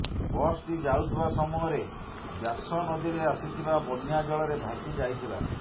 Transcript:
ବସଟି ଯାଉଥିବା ସମୟରେ ବ୍ୟାସ ନଦୀରେ ଆସିଥିବା ବନ୍ଯା ଜଳରେ ଭାସି ଯାଇଥିଲା